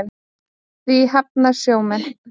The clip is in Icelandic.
Því hafna sjómenn.